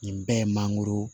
Nin bɛɛ ye mangoro